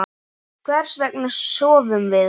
Hvers vegna sofum við?